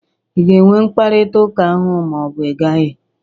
Ị ga-enwe mkparịtaụka ahụ ma ọ bụ ị gaghị?